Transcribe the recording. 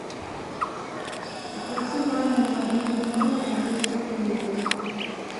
оплати мамин мобильный номер на двести рублей